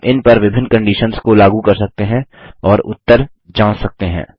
हम इन पर विभिन्न कंडिशन्स को लागू कर सकते हैं और उत्तर जाँच सकते हैं